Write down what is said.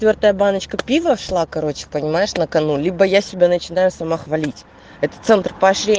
твёрдая баночку пива шла короче понимаешь накану либо я себя начинаю сама хвалить это центр пошли